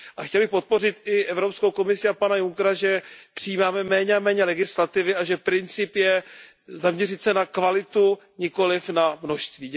A chtěl bych podpořit i Evropskou komisi a pana Junckera, že přijímáme méně a méně legislativy a že princip je zaměřit se na kvalitu, nikoliv na množství.